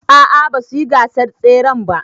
A a basu yi gasar tseren ba.